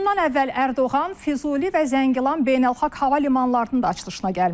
Bundan əvvəl Ərdoğan Füzuli və Zəngilan beynəlxalq hava limanlarının da açılışına gəlmişdi.